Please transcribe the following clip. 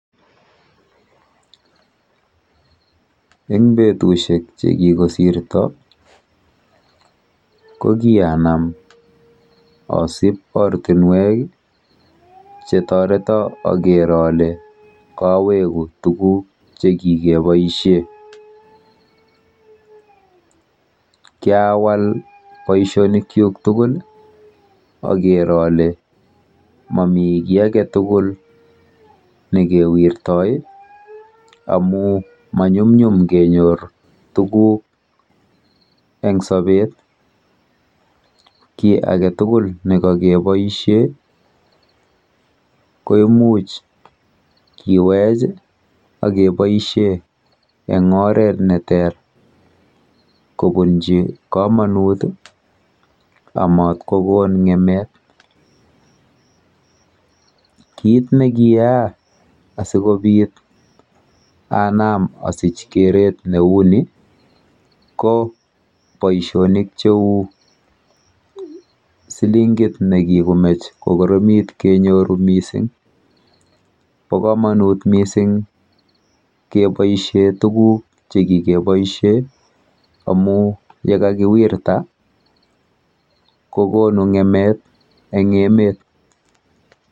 Eng betushek chekikosirto ko kianam asib ortinwek chetoreto aker ale kaweku tuguk chekikeboishe. Kyawal boishonikchuk tugul aker ale momi kiy aketugul nikewirtoi amu manyumnyum kenyor tuguk eng sopet. Kiy aketugul nekakeboishe ko imuch kewech akeboishe eng oret neter kobunchi komonut amat kokon ng'emet. Kit nekiyaa asikobit anam asich keret neu ni ko boishonik cheu silingit nekikomech kokoromit kenyoru mising. Po komonut mising keboishe tuguk chekikeboishe amu yekakiwirta kokonu ng'emet eng emet.